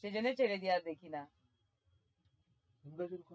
সেজন্যই ছেড়ে দিয়ে আর দেখি না